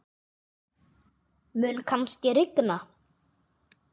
Mun kannski rigna?